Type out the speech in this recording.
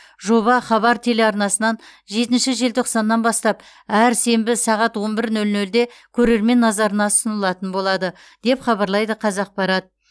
жоба хабар телеарнасынан жетінші желтоқсаннан бастап әр сенбі сағат он бір нөл нөлде көрермен назарына ұсынылатын болады деп хабарлайды қазақпарат